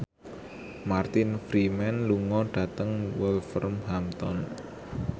Martin Freeman lunga dhateng Wolverhampton